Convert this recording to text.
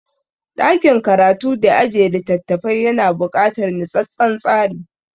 Ɗakin karatu da ajiye littafafai yana buƙatar nutsattsen tsari.